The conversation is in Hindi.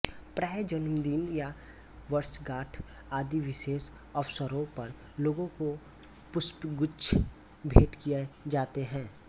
प्रायः जन्मदिन या वर्षगाँठ आदि विशेष अवसरों पर लोगों को पुष्पगुच्छ भेंट किए जाते हैं